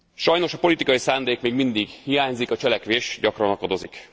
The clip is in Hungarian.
Sajnos a politikai szándék még mindig hiányzik, a cselekvés gyakran akadozik.